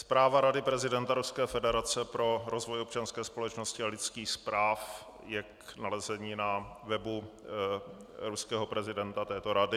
Zpráva Rady prezidenta Ruské federace pro rozvoj občanské společnosti a lidských práv je k nalezení na webu ruského prezidenta, této rady.